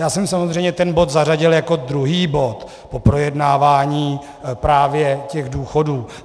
Já jsem samozřejmě ten bod zařadil jako druhý bod po projednávání právě těch důchodů.